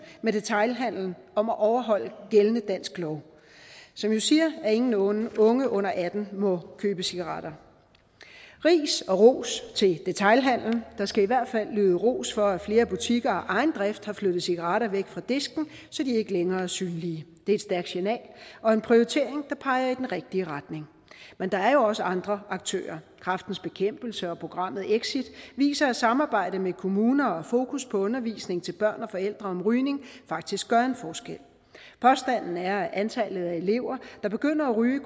med detailhandelen om at overholde gældende dansk lov som jo siger at ingen unge unge under atten år må købe cigaretter ris og ros til detailhandelen der skal i hvert fald lyde ros for at flere butikker af egen drift har flyttet cigaretterne væk fra disken så de ikke længere er synlige det er et stærkt signal og en prioritering der peger i den rigtige retning men der er jo også andre aktører kræftens bekæmpelse og programmet exit viser at samarbejdet med kommuner og fokus på undervisning til børn og forældre om rygning faktisk gør en forskel påstanden er at antallet af elever der begynder at ryge